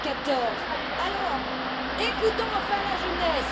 2014. Alors, écoutons enfin la jeunesse.